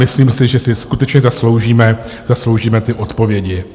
Myslím si, že si skutečně zasloužíme ty odpovědi.